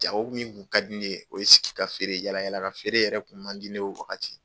Jago min kun ka di ne ye, o ye sigi ka feere, yala yala ka feere yɛrɛ kun man di ne o wagati.